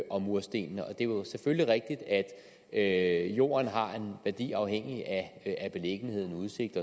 og murstenene det er jo selvfølgelig rigtigt at jorden har en værdi afhængigt af beliggenhed udsigt